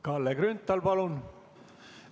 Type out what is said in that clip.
Kalle Grünthal, palun!